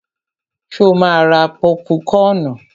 Ṣo ma ra pọ́púkọnù?